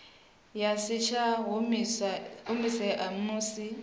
ya si tsha humisea musi